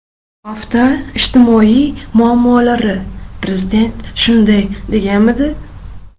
Hafta ijtimoiy muammolari: Prezident shunday deganmidi?.